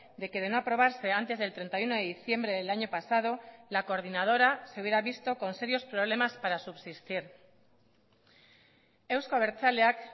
de que de no aprobarse antes del treinta y uno de diciembre del año pasado la coordinadora se hubiera visto con serios problemas para subsistir euzko abertzaleak